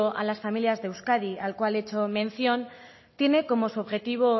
a las familias de euskadi al cual le he hecho mención tiene como su objetivo